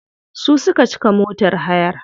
Su suka cika motar hayar.